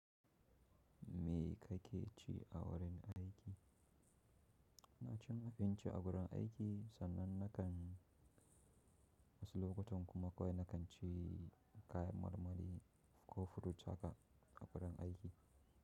Mi ka ke ci a wurin aiki? Na ci abinci a wurin aiki sannan na kan wasu lokutan kuma kawai na kan ci kayan marmari ko furut haka a wurin aiki.